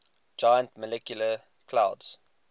giant molecular clouds